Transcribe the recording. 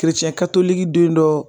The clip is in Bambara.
den dɔ